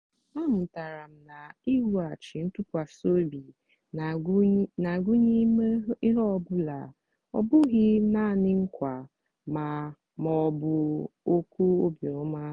amụtara m na iwughachi ntụkwasị obi na-agụnye ime ihe ọ bụla ọ bụghị nanị nkwa ma ọ bụ okwu obiọma.